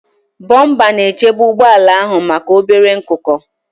Bọmpa na-echebe ụgbọ ala ahụ maka obere nkuko.